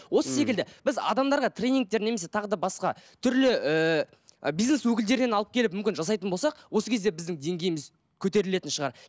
осы секілді біз адамдарға тренингтер немесе тағы да басқа түрлі ыыы бизнес өкілдерінен алып келіп мүмкін жасайтын болсақ осы кезде біздің деңгейіміз көтерілетін шығар